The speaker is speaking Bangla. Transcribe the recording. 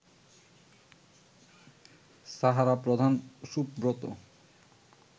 সাহারা প্রধান সুব্রত